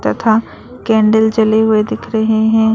तथा केंडिल जले हुए दिख रहे हैं।